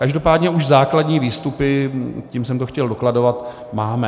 Každopádně už základní výstupy, tím jsem to chtěl dokladovat, máme.